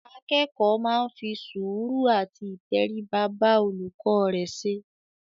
Akẹ́kọ̀ọ́ máa ń fi sùúrù àti ìtẹríba bá olùkọ́ rẹ ṣe.